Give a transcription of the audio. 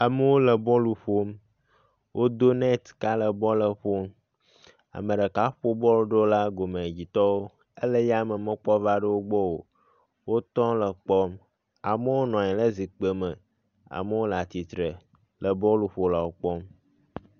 amewo le bɔl ƒom wó dó netka le bɔlɛƒo ameɖeka ƒo bɔl ɖola gomɛdzi tɔwo éle yame mekpɔ va ɖo wógbɔ o wó tɔ le kpɔm amowo nɔnyi le zikpi me amowo latsitsre le bɔluƒolawo kpɔm